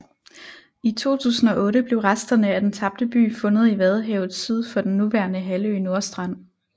I 2008 blev resterne af den tabte by fundet i vadehavet syd for den nuværende halvø Nordstrand